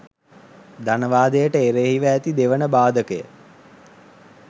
ධනවාදයට එරෙහිව ඇති දෙවන බාධකය